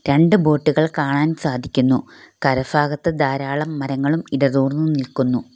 രണ്ട്‌ ബോട്ട് കൾ കാണാൻ സാധിക്കുന്നു കര ഫാഗത്ത് ധാരാളം മരങ്ങളും ഇടതൂർന്ന് നിൽക്കുന്നു.